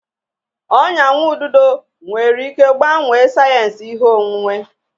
Ọnya nwa ududo nwere ike gbanwee sayensị ihe onwunwe.